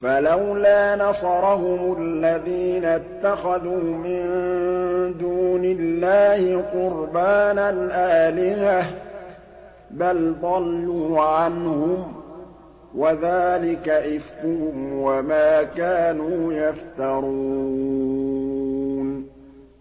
فَلَوْلَا نَصَرَهُمُ الَّذِينَ اتَّخَذُوا مِن دُونِ اللَّهِ قُرْبَانًا آلِهَةً ۖ بَلْ ضَلُّوا عَنْهُمْ ۚ وَذَٰلِكَ إِفْكُهُمْ وَمَا كَانُوا يَفْتَرُونَ